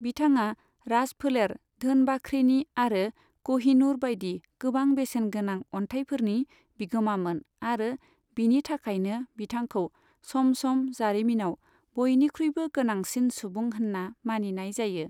बिथाङा राजफोलेर धोन बाख्रिनि आरो क'हिनूर बायदि गोबां बेसेनगोनां अन्थाइफोरनि बिगोमामोन आरो बिनि थाखायनो बिथांखौ सम सम जारिमिनाव बयनिख्रुयबो गोनांसिन सुबुं होन्ना मानिनाय जायो।